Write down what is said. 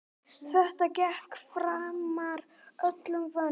Þetta gekk framar öllum vonum.